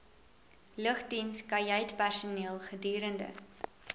lugdiens kajuitpersoneel gedurende